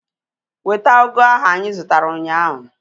Weta ugu ahu anyị zụtara ụnyaahụ!